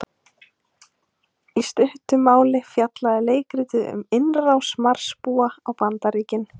Í stuttu máli fjallaði leikritið um innrás Marsbúa á Bandaríkin.